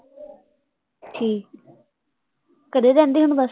ਠੀਕ ਹੈ, ਘਰੇ ਹੀ ਰਹਿੰਦੀ ਹੈ ਹੁਣ